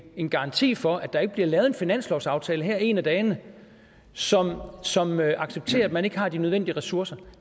en garanti for at der bliver lavet en finanslovsaftale her en af dagene som som accepterer at man ikke har de nødvendige ressourcer